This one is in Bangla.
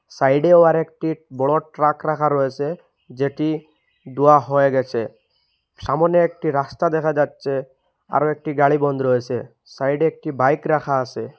সাইডে ও আর একটি বড়ো ট্রাক রাখা রয়েছে যেটি দুয়া হয়ে গেছে সামোনে একটি রাস্তা দেখা যাচ্ছে আরো একটি গাড়ি বন্ধ রয়েছে সাইডে একটি বাইক রাখা আসে ।